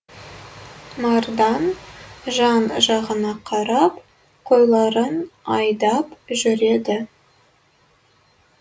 мардан жан жағына қарап қойларын айдап жүреді